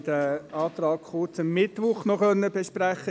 Wir konnten diesen Antrag in der GSoK am Mittwoch noch kurz besprechen.